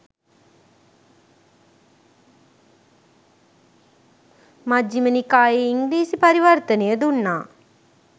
මජ්ජිම නිකායේ ඉංග්‍රිසිි පරිවර්තනය දුන්නා